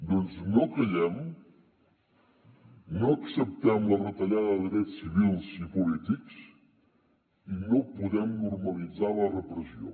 doncs no callem no acceptem la retallada de drets civils i polítics i no podem normalitzar la repressió